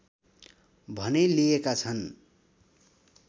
भने लिएका छन्